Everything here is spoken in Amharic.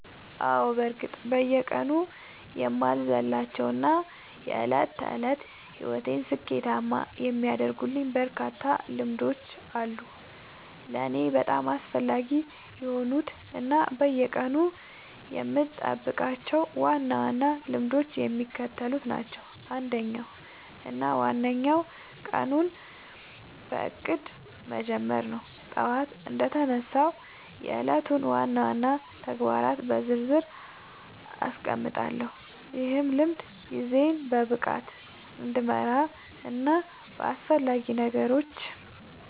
በእርግጥ አዎ፤ በየቀኑ የማልዘልላቸው እና የዕለት ተዕለት ሕይወቴን ስኬታማ የሚያደርጉልኝ በርካታ ልምዶች አሉ። ለእኔ በጣም አስፈላጊ የሆኑት እና በየቀኑ የምጠብቃቸው ዋና ዋና ልምዶች የሚከተሉት ናቸው፦ አንደኛው እና ዋነኛው ቀኑን በእቅድ መጀመር ነው። ጠዋት እንደተነሳሁ የዕለቱን ዋና ዋና ተግባራት በዝርዝር አስቀምጣለሁ፤ ይህ ልምድ ጊዜዬን በብቃት እንድመራና በአላስፈላጊ ነገሮች